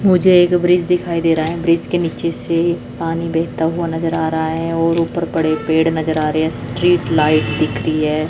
मुझे एक ब्रिज दिखाई दे रहा है ब्रिज के नीचे से पानी बहता हुआ नजर आ रहा है और ऊपर बड़े पेड़ नजर आ रहे हैं स्ट्रीट लाइट दिख रही है।